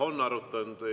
Jah, on arutanud.